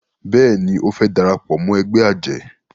béèni o fè darapọ̀ mọ́ ègbé ajé